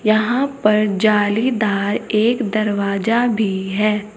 यहां पर जालीदार एक दरवाजा भी है।